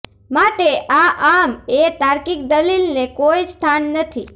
માટે આ આમા એ તાર્કિક દલીલ ને કોઈ સ્થાન નથી